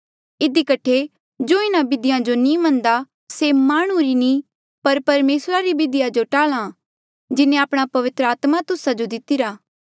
इधी कठे जो इन्हा बिधियो जो नी मनदा से माह्णुं री नी पर परमेसरा री बिधिया जो टाल्हा जिन्हें आपणा पवित्र आत्मा तुस्सा जो दितिरा